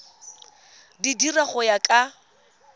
di dira go ya ka